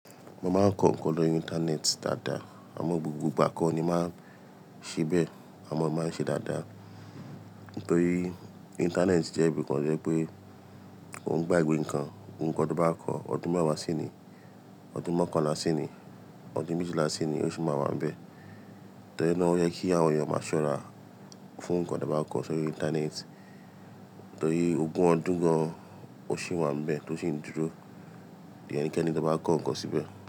Mo máa ń kọ ǹkan lórí Íńtánẹ́ẹ̀tì dáadáa, àmọ́ gbogbo ìgbà kọ́ ni màá ṣe bẹ́ẹ̀, àmọ́ màá ṣe dáadáa. Nítorí Íńtánẹ́ẹ̀tì jẹ́ ibi kan wípé, kòun gbàgbe ǹkan, ohun kan tí o bá kọ ọdún mẹ́wàá sení, ọdún mọ́kanla sení, ọdún méjìlá sení, ó ṣì máa wà níbẹ̀. Torí náà ó yẹ kí àwọn èèyàn máa ṣọ́ra fún ǹkan tí a bán kọ sórí Íńtánẹ́ẹ̀tì, torí ogún ọdún gan ò ṣì wà níbẹ̀ tó sì ń dúró. Ko de yen keni tó bá kọ ǹkan síbẹ̀.